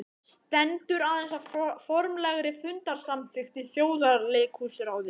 Stendur aðeins á formlegri fundarsamþykkt í Þjóðleikhúsráði.